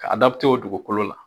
Ka o dugukolo la.